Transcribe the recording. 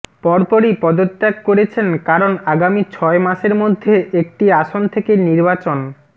পরপরই পদত্যাগ করেছেন কারণ আগামী ছয় মাসের মধ্যে একটি আসন থেকে নির্বাচন